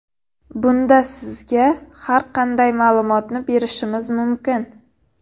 Bunda sizga har qanday ma’lumotni berishimiz mumkin.